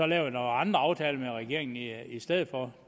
lavet andre aftaler med regeringen i i stedet for